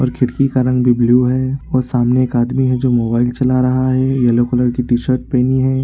और खिड़की का रंग भी ब्लू है और सामने एक आदमी है जो मोबाइल चला रहा है येलो कलर की टी-शर्ट पहनी है।